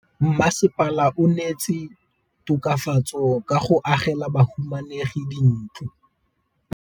Mmasepala o neetse tokafatsô ka go agela bahumanegi dintlo.